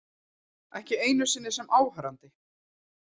Ekki einu sinni sem áhorfandi.